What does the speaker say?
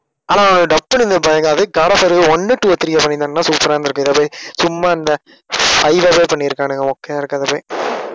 ஆனா dub பண்ணிருந்தது பயங்கரம், அதே God of War one two three பண்ணிருந்தாங்கன்னா super ஆ இருந்திருக்கும். இதைப்போய் சும்மா இந்த five வே பண்ணியிருக்கானுங்க மொக்கையா இருக்கறதாய் போய்